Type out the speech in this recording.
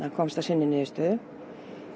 komst að sinni niðurstöðu